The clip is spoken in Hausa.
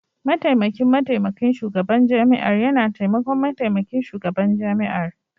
Mataimakin Mataimakin Shugaban Jami'ar yana taimakon Mataimakin Shugaban Jami'ar.